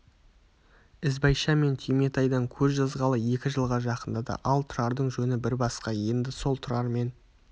ізбайша мен түйметайдан көз жазғалы екі жылға жақындады ал тұрардың жөні бір басқа енді сол тұрармен